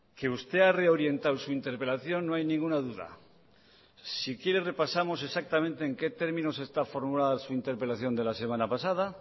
que usted ha reorientado su interpelación no hay ninguna duda si quiere repasamos exactamente en qué términos está formulada su interpelación de la semana pasada